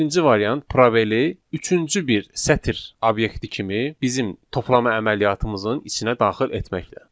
Birinci variant probeli üçüncü bir sətr obyekti kimi bizim toplama əməliyyatımızın içinə daxil etməklə.